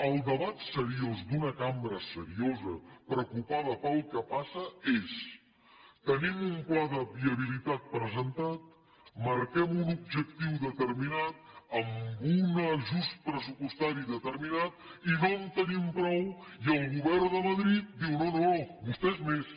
el debat seriós d’una cambra seriosa preocupada pel que passa és tenim un pla de viabilitat presentat marquem un objectiu determinat amb un ajust pressupostari determinat i no en tenim prou i el govern de madrid diu no no vostès més